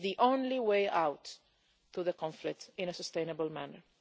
That is the only way out of the conflict in a sustainable manner.